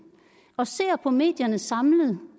og ser på medierne samlet